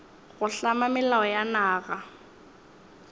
go hlama melao ya naga